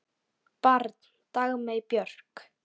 Barn Dagmey Björk.